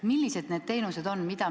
Millised need teenused on?